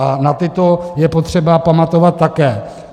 A na tyto je potřeba pamatovat také.